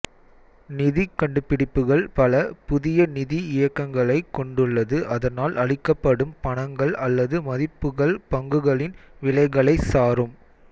நிதிக் கண்டுபிடிப்புகள் பல புதிய நிதி இயக்கங்களை கொண்டுள்ளது அதனால் அளிக்கப்படும் பணங்கள் அல்லது மதிப்புகள் பங்குகளின் விலைகளைச் சாரும்